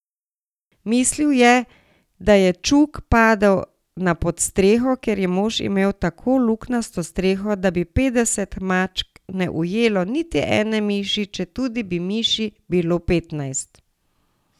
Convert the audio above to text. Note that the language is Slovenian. Mislil je, da je čuk padel na podstreho, ker je mož imel tako luknjasto streho, da bi petdeset mačk ne ujelo niti ene miši, četudi bi miši bilo petnajst.